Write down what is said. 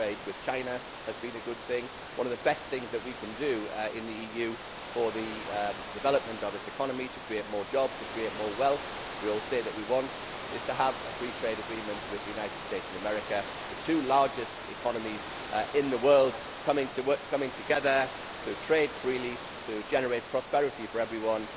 free trade with China has been a good thing. One of the best things that we can do in the EU for the development of its economy to create more jobs and more wealth something we all say we want is to have a free trade agreement with the United States of America the two largest economies in the world coming together to trade freely to generate prosperity for everyone.